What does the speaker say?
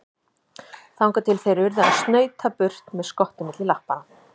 Þangað til þeir urðu að snauta burt með skottið milli lappanna.